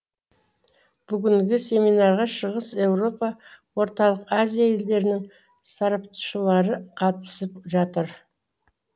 бүгінгі семинарға шығыс еуропа орталық азия елдерінің сарапшылары қатысып жатыр